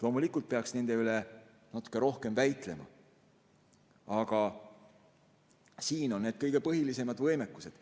Loomulikult peaks nende üle natuke rohkem väitlema, aga siin need kõige põhilisemad võimekused.